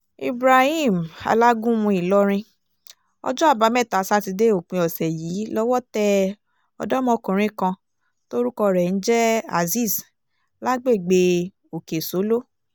ibrahim alágúnmu ìlọrin ọjọ́ àbámẹ́ta sátidé òpin ọ̀sẹ̀ yìí lọ́wọ́ tẹ ọ̀dọ́mọkùnrin kan tórúkọ rẹ̀ ń jẹ́ azeez lágbègbè òkè-sóló